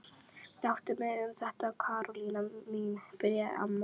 Láttu mig um þetta Karólína mín byrjaði amma.